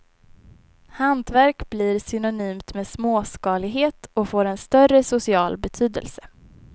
Hantverk blir synonymt med småskalighet och får en större social betydelse.